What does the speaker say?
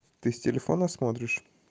ты с телефона смотришь